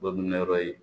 Badulean yɔrɔ ye